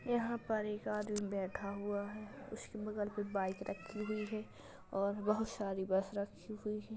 यहाँ पर एक आदमी बैठा हुआ है। उसके बगल पे बाइक रखी हुई है और बहुत सारी बस रखी हुई हैं।